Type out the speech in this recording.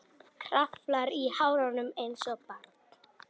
Kraflar í hárunum einsog barn.